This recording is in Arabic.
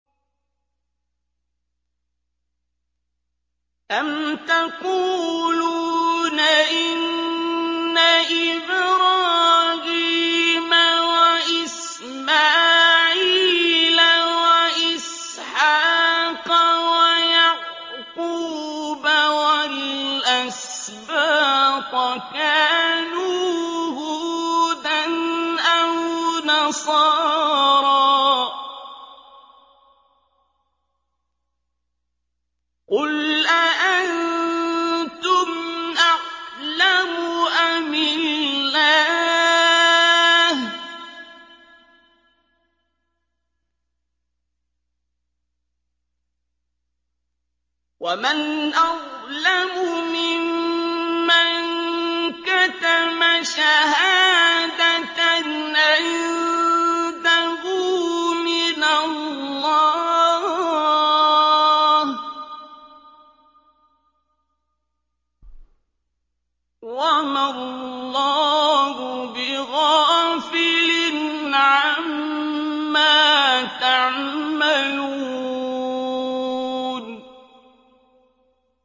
أَمْ تَقُولُونَ إِنَّ إِبْرَاهِيمَ وَإِسْمَاعِيلَ وَإِسْحَاقَ وَيَعْقُوبَ وَالْأَسْبَاطَ كَانُوا هُودًا أَوْ نَصَارَىٰ ۗ قُلْ أَأَنتُمْ أَعْلَمُ أَمِ اللَّهُ ۗ وَمَنْ أَظْلَمُ مِمَّن كَتَمَ شَهَادَةً عِندَهُ مِنَ اللَّهِ ۗ وَمَا اللَّهُ بِغَافِلٍ عَمَّا تَعْمَلُونَ